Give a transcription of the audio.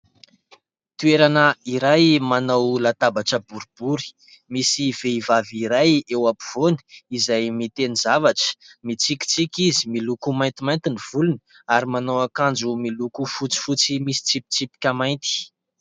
Toerana iray manao latabatra boribory, misy vehivavy iray eo ampovoany izay miteny zavatra. Mitsikitsiky izy, miloko maintimainty ny volony ary manao akanjo miloko fotsifotsy misy tsipitsipika mainty.